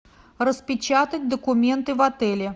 распечатать документы в отеле